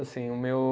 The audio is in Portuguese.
Assim, o meu